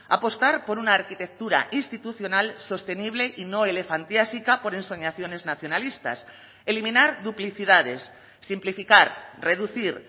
apostar por una arquitectura institucional sostenible y no elefantiasica por ensoñaciones nacionalistas eliminar duplicidades simplificar reducir